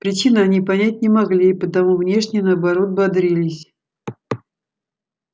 причины они понять не могли и потому внешне наоборот бодрились